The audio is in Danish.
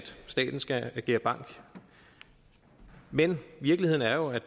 staten skal agere bank men virkeligheden er jo at